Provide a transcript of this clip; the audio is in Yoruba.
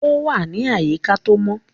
Ó wà ní àyíká tó mọ.